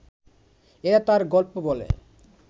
এরা তাঁর গল্প বলে